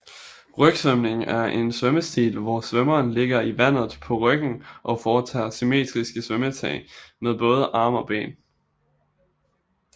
Rygsvømning er en svømmestil hvor svømmeren ligger i vandet på ryggen og foretager symmetriske svømmetag med både arme og ben